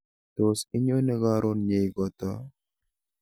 Tos inyone karon nyeikoto